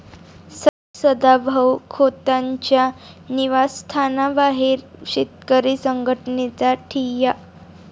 सदाभाऊ खोतांच्या निवासस्थानाबाहेर शेतकरी संघटनेचा ठिय्या